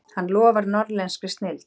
Hann lofar norðlenskri snilld.